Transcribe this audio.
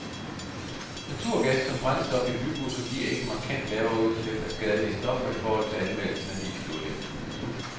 Naturgas som brændstof i bybusser giver ikke markant lavere udslip af skadelige stoffer i forhold til anvendelse af dieselolie. punktum